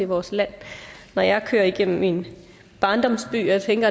vores land når jeg kører igennem min barndoms byer tænker